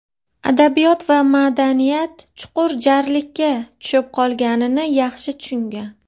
adabiyot va madaniyat chuqur "jarlikka" tushib qolganini yaxshi tushungan.